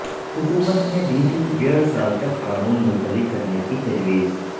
حکومت نے دیی تھی ڈیڑھ سال تک قانون ملتوی کرنے کی تجویز